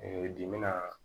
dimina